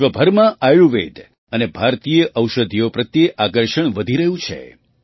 વિશ્વભરમાં આયુર્વેદ અને ભારતીય ઔષધિઓ પ્રત્યે આકર્ષણ વધી રહ્યું છે